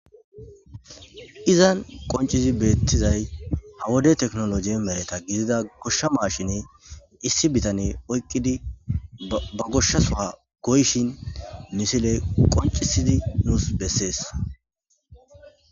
Izan qoncizi beettizay hawode teknologi mereta gidida goshsha maashiney issi bitane oyqqidi ba goshsha soha goyshin misiley qoncisidi nuus bessees.